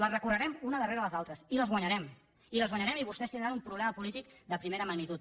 les recorrerem unes darrere les altres i les guanyarem i les guanyarem i vostès tindran un problema polític de primera magnitud